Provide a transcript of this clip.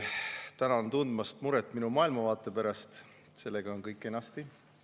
Tänan tundmast muret minu maailmavaate pärast, sellega on kõik kenasti.